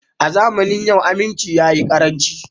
A zamanin yau aminci ya yi karanci